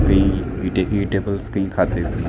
खाते हुए हैं।